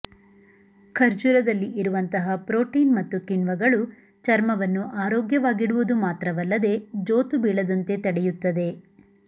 ಖರ್ಜೂರದಲ್ಲಿ ಇರುವಂತಹ ಪ್ರೋಟೀನ್ ಮತ್ತು ಕಿಣ್ವಗಳು ಚರ್ಮವನ್ನು ಆರೋಗ್ಯವಾಗಿಡುವುದು ಮಾತ್ರವಲ್ಲದೆ ಜೋತು ಬೀಳದಂತೆ ತಡೆಯುತ್ತದೆ